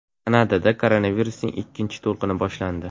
Kanadada koronavirusning ikkinchi to‘lqini boshlandi.